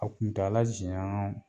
A kuntaala jɛɲaa